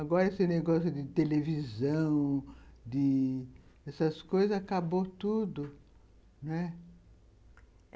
Agora, esse negócio de televisão, de ...dessas coisas, acabou tudo, né.